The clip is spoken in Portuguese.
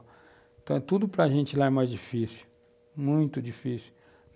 Então eh, tudo para a gente lá é mais difícil, muito difícil.